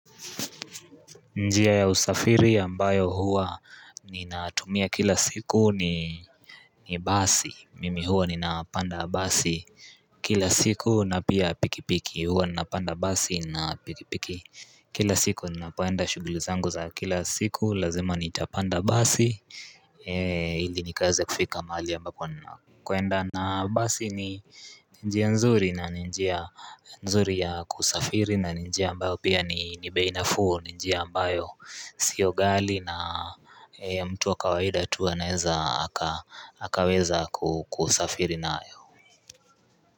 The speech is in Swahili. Njia ya usafiri ambayo huwa ninatumia kila siku ni basi, mimi huwa nina panda basi kila siku na pia pikipiki huwa nina panda basi na pikipiki Kila siku ninapoenda shuguli zangu za kila siku lazima nitapanda basi ili nikaze kufika mahali ambapo ninakwenda na basi ni njia nzuri na njia nzuri ya kusafiri na ni njia ambayo pia ni bei nafuu ni njia ambayo sio ghali na mtu wa kawaida anaweza akaweza kusafiri nayo.